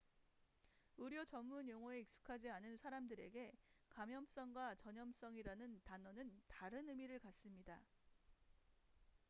의료 전문 용어에 익숙하지 않은 사람들에게 감염성과 전염성이라는 단어는 다른 의미를 갖습니다